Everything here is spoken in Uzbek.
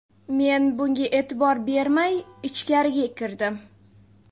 Men bunga e’tibor bermay, ichkariga kirdim.